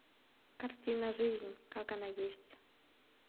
картина жизнь как она есть